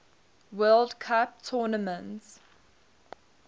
world cup tournament